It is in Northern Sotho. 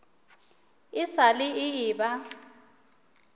e sa le e eba